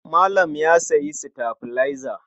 Malam ya sayi sitabilaiza.